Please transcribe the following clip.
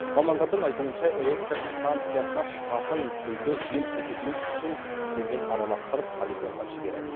мамандардың айтуынша электр станциясынан шығатын күлді жел көтермес үшін сумен араластырып полигонға жібереді